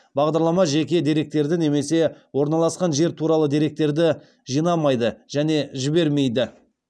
бағдарлама жеке деректерді немесе орналасқан жер туралы деректерді жинамайды және жібермейді